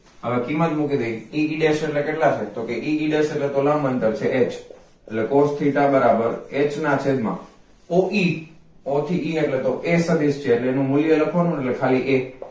હવે કિંમત મૂકી દઈએ e e desh એટલે કેટલા થાય e e desh એટલે તો લંબ અંતર છે h એટલે cos theta બરાબર h નાં છેદ માં oe o થી e એટલે તો એ એક જ છે તો કે એનું મૂલ્ય લખવા નુ ને એટલે એક